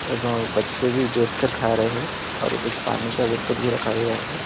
और बच्चे भी बैठ कर खा रहे हैं और कुछ पानी का बोतल भी रखा गया है।